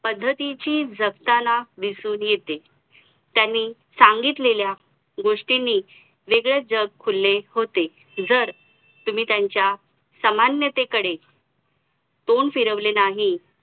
अ मला पुस्तक वाचायची वगैरे हल्लीच सवय राहिलेली गेल्या दोन वर्षान पूर्वी तर सुरुवाती सुरवातीला आम्ही stock market त्यामध्ये interested होतं तर त्यावेळी मी financial related वैगेरे अ बरीच पुस्तके वाचली.